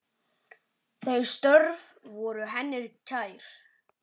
Þau störf voru henni kær.